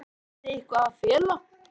Lóa: Hafið þið eitthvað að fela?